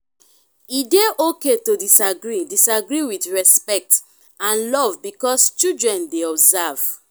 e de okay to disagree disagree with respect and love because childen de observe